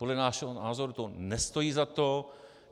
Podle našeho názoru to nestojí za to.